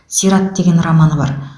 сират деген романы бар